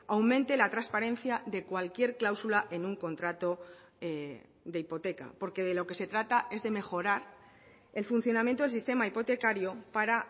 aumente la transparencia de cualquier cláusula en un contrato de hipoteca porque de lo que se trata es de mejorar el funcionamiento del sistema hipotecario para